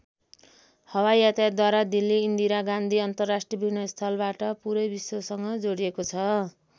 हवाई यातायातद्वारा दिल्ली इन्दिरा गान्धी अन्तरराष्ट्रिय विमानस्थलबाट पुरै विश्वसँग जोडिएको छ।